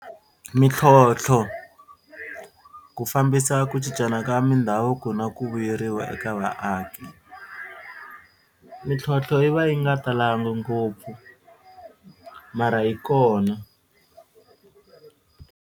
Mintlhontlho ku fambisa ku cincana ka mindhavuko na ku vuyeriwa eka vaaki. Mintlhontlho yi va yi nga talanga ngopfu mara yi kona.